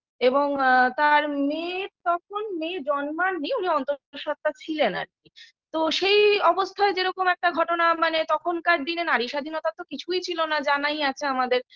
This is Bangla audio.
এবং আ তার মেয়ে তখন মেয়ে জন্মাননি উনি অন্তঃসত্বা ছিলেন আর কি তো সেই অবস্থায় যে রকম একটা ঘটনা মানে তখনকার দিনে নারী স্বাধীনতা তো কিছুই ছিল না জানাই আছে আমাদের